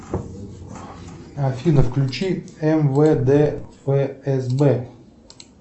афина включи мвд фсб